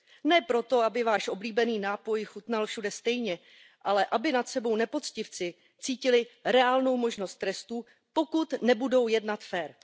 Ne proto, aby váš oblíbený nápoj chutnal všude stejně, ale aby nad sebou nepoctivci cítili reálnou možnost trestu, pokud nebudou jednat férově.